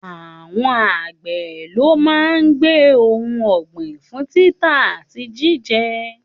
Àwọn àgbẹ̀ ló máa ń gbé ohun ọ̀gbìn fún títà àti jíjẹ